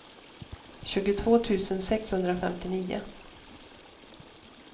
tjugotvå tusen sexhundrafemtionio